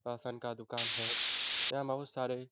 ration का दुकान है यहाँ सारे --